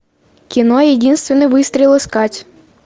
кино единственный выстрел искать